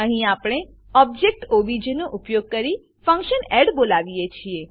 અહીં આપણે object OBJ નો ઉપયોગ કરીને ફંક્શન એડ બોલાવીએ છીએ